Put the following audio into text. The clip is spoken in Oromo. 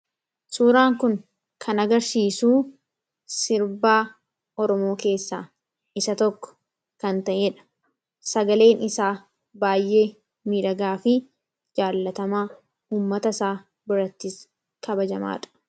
Suuraan kun kan agarsiisu sirba Oromoo keessaa isa tokko kan ta'edha. sagaleen isaa baay'ee miidhagaa fi jaalatamaa ummata isaa biratti kabajamaadha.